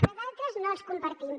però d’altres no els compartim